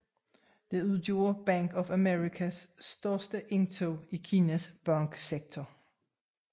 Det udgjorde Bank of Americas største indtog i Kinas banksektor